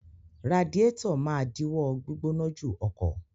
Radiátọ̀ máa díwọ́ gbígbóná jù ọkọ̀.